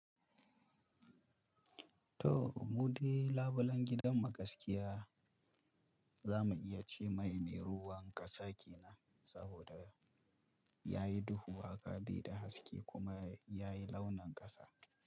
To, mu de labulen gidan mu gasƙiya za mu iya ce mai me ruwan ƙasa kenan, saboda ya yi duhu, haka baida haske kuma ya yi launin ƙasa.